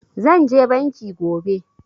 Zan je banki gobe